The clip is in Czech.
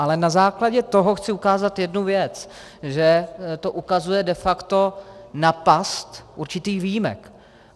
Ale na základě toho chci ukázat jednu věc - že to ukazuje de facto na past určitých výjimek.